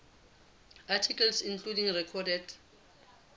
articles including recorded